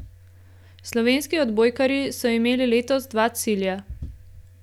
Slovenski odbojkarji so imeli letos dva cilja.